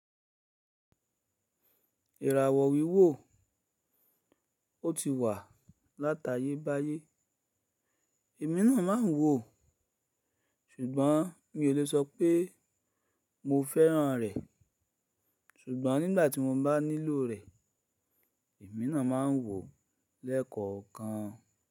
Ìràwọ̀ wíwò, o ti wà láta yé bá yé. Èmi náà máa ń wò ó, ṣùgbọ́n mi o le sọ pé mo fẹ́ràn rẹ̀. Ṣùgbọ́n nígbà tí mo bá nílò rẹ̀, èmi náà máa ń wò ó lẹ́kọ̀ọ̀kan.